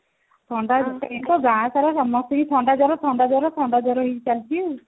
ଥଣ୍ଡା ଏଇନା ଗାଁ ସାରା ସମସ୍ତଙ୍କୁ ଥଣ୍ଡାଜର ଥଣ୍ଡାଜର ଥଣ୍ଡାଜର ହେଇ ଚାଲିଛି ଆଉ